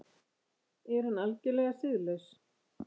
Er hann algerlega siðlaus?